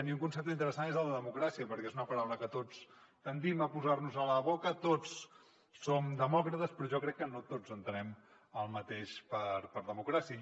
i un concepte interessant és el de democràcia perquè és una paraula que tots tendim a posar nos a la boca tots som demòcrates però jo crec que no tots entenem el mateix per democràcia